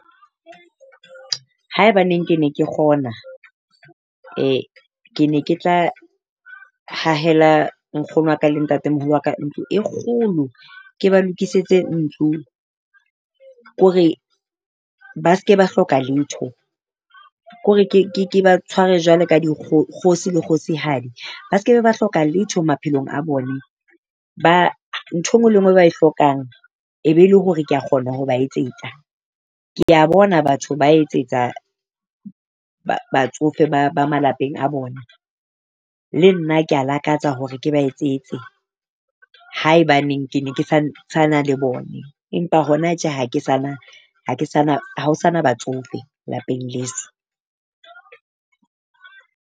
Haebaneng ke ne ke kgona ke ne ke tla hahela nkgono wa ka le ntate moholo wa ka ntlo e kgolo ke ba lokisetse ntlo. Ke hore ba se ke ba hloka letho. Kore ke ba tshware jwalo ka dikgosi le kgosihadi ba se ke be ba hloka letho maphelong a bone. Ba ntho enngwe le enngwe e ba e hlokang e be e le hore kea kgona ho ba etsetsa. Kea bona batho ba etsetsa ba batsofe ba ba malapeng a bona. Le nna kea lakatsa hore ke ba etsetse haebaneng ke ne ke santsana le bone, empa hona tje ha ke sa na, ha ke sa na, ha ho sa na batsofe lapeng leso.